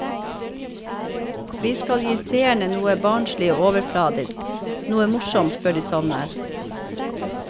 Vi skal gi seerne noe barnslig og overfladisk, noe morsomt før de sovner.